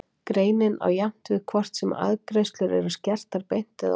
Greinin á jafnt við hvort sem arðgreiðslur eru skertar beint eða óbeint.